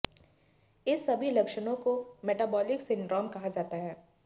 इस सभी लक्षणों को मेटाबोलिक सिंड्राम कहा जाता है